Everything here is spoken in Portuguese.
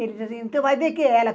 Ele dizia assim, mas de que ela?